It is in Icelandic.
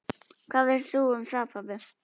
Hvað veist þú um það, pabbi?